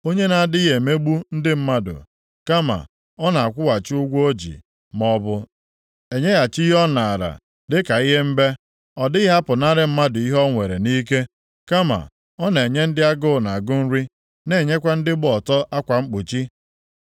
Onye na-adịghị emegbu ndị mmadụ, kama ọ na-akwụghachi ụgwọ o ji, maọbụ na-enyeghachi ihe ọ naara dịka ihe mbe, ọ dịghị apụnara mmadụ ihe o nwere nʼike, kama ọ na-enye ndị agụụ na-agụ nri, na-enyekwa ndị gbaa ọtọ akwa mkpuchi.